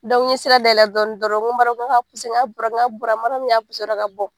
n ye sira dayɛlɛ dɔɔnin dɔrɔn n ko MARIYAMU n k'a ka n k'a bɔra n k'a bɔra MARIYAMU y'a dɔrɔn ka bɔ.